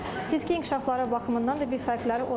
Fiziki inkişafları baxımından da bir fərqləri olmur.